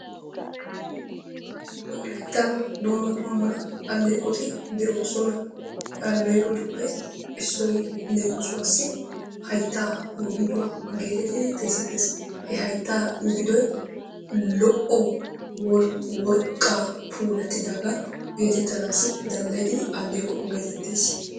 Wolayttan dumma dumma alleeqoti de'oosona. Ha alleeqotuppe issoy leemisuwassi hayttaa migiduwa geetettidi xeesettees. He hayttaa migidoy lo"o worqqaa puulattidaagaa geetettanaassi danddayettidi alleeqo geetettees.